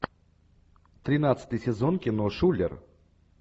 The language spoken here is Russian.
тринадцатый сезон кино шулер